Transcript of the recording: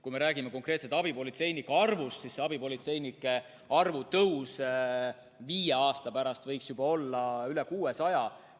Kui me räägime konkreetselt abipolitseinike arvust, siis selle arvu tõus viie aasta pärast võiks olla juba üle 600.